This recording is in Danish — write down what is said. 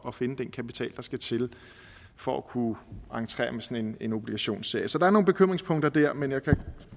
at finde den kapital der skal til for at kunne entrere med sådan en obligationsserie så der er nogle bekymringspunkter der men jeg kan